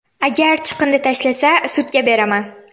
Agar chiqindi tashlasa, sudga beraman”.